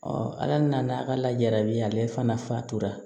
ala nana ka lajarabi yan ale fana fa tora